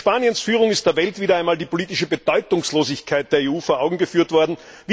Unter Spaniens Führung ist der Welt wieder einmal die politische Bedeutungslosigkeit der EU vor Augen geführt worden.